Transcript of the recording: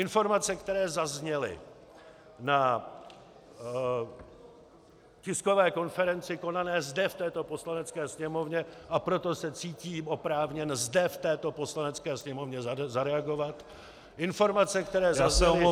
Informace, které zazněly na tiskové konferenci konané zde v této Poslanecké sněmovně, a proto se cítím oprávněn, zde v této Poslanecké sněmovně zareagovat, informace, které zazněly -